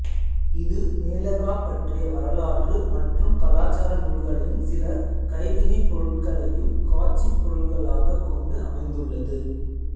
இது மேலகா பற்றிய வரலாற்று மற்றும் கலாச்சார நூல்களையும் சில கைவினைப் பொருட்களையும் காட்சிப் பொருள்களாகக் கொண்டு அமைந்துள்ளது